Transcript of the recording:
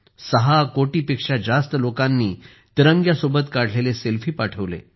6 कोटी पेक्षा जास्त लोकांनी तिरंग्यासोबत काढलेले सेल्फी पाठवले